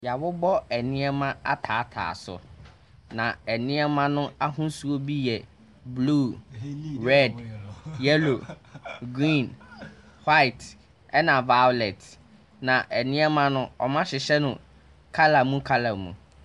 Yɛabobɔ nneɛma ataatae so. Na nneɛma n’ahosuo bi yɛ blue, red, yellow, green, white ɛna violet. Na nneɛma no wɔahyehyɛ no colour mu colour mu.